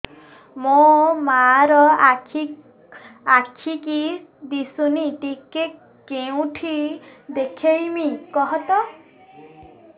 ମୋ ମା ର ଆଖି କି ଦିସୁନି ଟିକେ କେଉଁଠି ଦେଖେଇମି କଖତ